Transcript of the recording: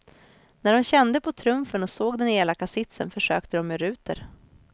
När de kände på trumfen och såg den elaka sitsen försökte de med ruter.